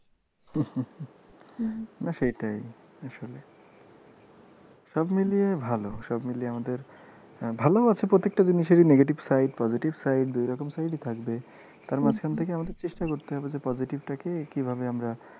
না সেটাই আসলে সবমিলিয়ে ভালো। সবমিলিয়ে আমাদের ভালো আছে প্রত্যেকটা জিনিসের negative side positive side দুই রকম side ই থাকবে। তার মাঝখান থেকে আমাদের চেষ্টা করতে হবে যে positive টা কে কিভাবে আমরা,